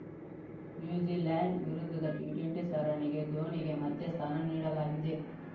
New Zealand ವಿರುದ್ಧದ T twenty ಸರಣಿಗೆ ಧೋನಿಗೆ ಮತ್ತೆ ಸ್ಥಾನ ನೀಡಲಾಗಿದೆ